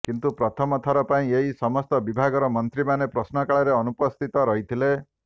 କିନ୍ତୁ ପ୍ରଥମଥର ପାଇଁ ଏହି ସମସ୍ତ ବିଭାଗର ମନ୍ତ୍ରୀମାନେ ପ୍ରଶ୍ନକାଳରେ ଅନୁପସ୍ଥିତ ରହିଥିଲେ